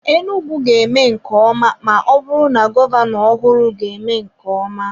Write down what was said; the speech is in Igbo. Enugwu ga-eme nke ọma ma ọ bụrụ na gọvanọ ọhụrụ ga-eme nke ọma.